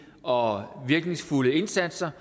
og virkningsfulde indsatser